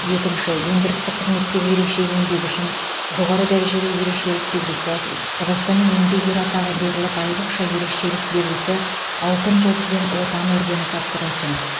екінші өндірістік қызметтегі ерекше еңбегі үшін жоғары дәрежелі ерекшелік белгісі қазақстанның еңбек ері атағы беріліп айрықша ерекшелік белгісі алтын жұлдыз бен отан ордені тапсырылсын